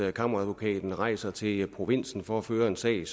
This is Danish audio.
at kammeradvokaten rejser til provinsen for at føre en sag